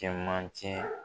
Cɛmancɛ